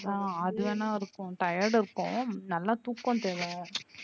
ஆஹ் அதுவேணா இருக்கும் tired இருக்கும் நல்லா தூக்கம் தேவ.